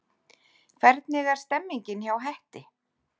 Hvernig er stemningin hjá Hetti?